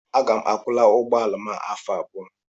Aga m akwọla ụgbọ ala m afọ abụọ.